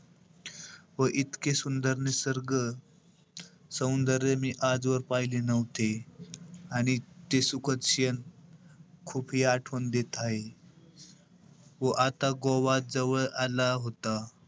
व इतके सुंदर निसर्ग सौंदर्य मी आजवर पहिले नव्हते. आणि ते सुखद क्षेण खूप हि आठवण देत आहे. व आता गोवा जवळ आला होता.